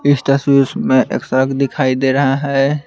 इस तसवीर में एक सड़क दिखाई दे रहा है।